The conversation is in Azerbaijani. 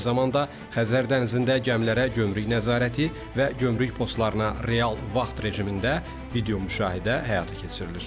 Eyni zamanda, Xəzər dənizində gəmilərə gömrük nəzarəti və gömrük postlarına real vaxt rejimində video müşahidə həyata keçirilir.